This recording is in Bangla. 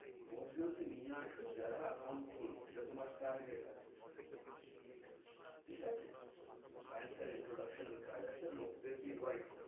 দশ জন কে নিয়ে আসো যারা account খুলবে, ইটা তামার target আছে, ব্যাংকের introduction কাজ আছে, লোক দের কে invite